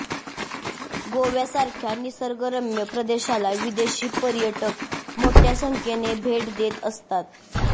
गोव्यासारख्या निसर्गरम्य प्रदेशाला विदेशी पर्यटक मोठय़ा संख्येने भेट देत असतात